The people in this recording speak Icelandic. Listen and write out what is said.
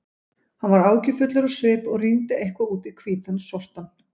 Hann var áhyggjufullur á svip og rýndi eitthvað út í hvítan sortann.